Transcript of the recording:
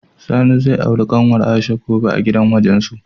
Sani zai auri kanwar Aisha gobe a gidan wajensu.